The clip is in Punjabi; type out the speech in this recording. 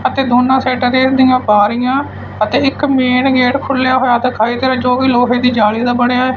ਅਤੇ ਦੋਨਾਂ ਸਾਇਡਾਂ ਤੇ ਬਾਰੀਆਂ ਅਤੇ ਇੱਕ ਮੇਨ ਗੇਟ ਖੁੱਲਿਆ ਹੋਇਆ ਦਿਖਾਈ ਦੇ ਰਿਹਾ ਹੈ ਜੋ ਵੀ ਲੋਹੇ ਦੀ ਜਾਲੀ ਦਾ ਬਣਿਆ--